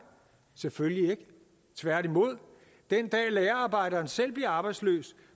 selvfølgelig ikke tværtimod den dag lagerarbejderen selv bliver arbejdsløs